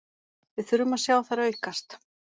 Við þurfum að sjá þær aukast